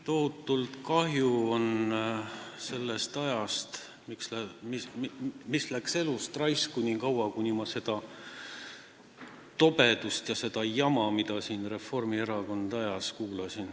Tohutult kahju on sellest ajast, mis läks raisku, kui ma kuulasin seda tobedust ja jama, mida Reformierakond siin ajas.